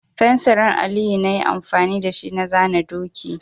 Fensirin Aliyu na yi amfani da shi na zana doki.